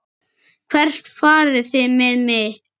Hvert farið þið með mig?